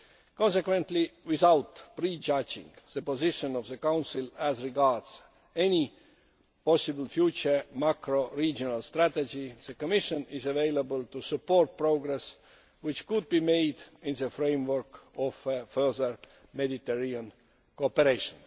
Consequently, without prejudging the position of the Council as regards any possible future macro regional strategy, the Commission is able to support progress which could be made in the framework of further Mediterranean cooperation.